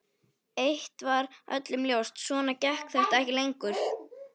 Eitt var öllum ljóst: Svona gekk þetta ekki lengur.